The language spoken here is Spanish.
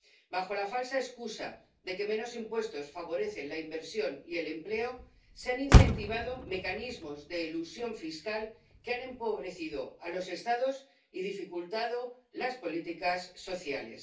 Bajo la falsa excusa de que menos impuestos favorecen la inversión y el empleo, se han incentivado mecanismos de elusión fiscal que han empobrecido a los Estados y dificultado las políticas sociales.